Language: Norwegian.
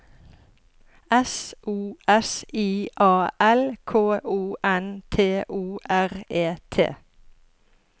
S O S I A L K O N T O R E T